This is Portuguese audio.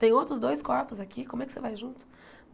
Tem outros dois corpos aqui, como é que você vai junto?